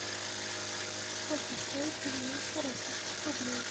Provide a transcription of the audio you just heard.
сколько стоят девяносто российских рублей